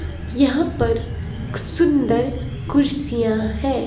यहां पर सुंदर कुर्सियां हैं।